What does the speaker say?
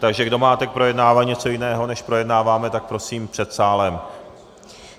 Takže kdo máte k projednávání něco jiného než projednáváme, tak prosím před sálem.